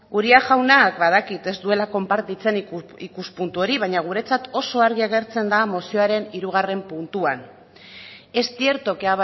uria jaunak badakit ez duela konpartitzen ikuspuntu hori baina guretzat oso argi agertzen da mozioaren hirugarren puntuan es cierto que